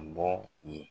Bɔ yen